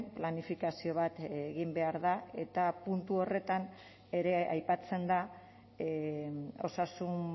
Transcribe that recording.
planifikazio bat egin behar da eta puntu horretan ere aipatzen da osasun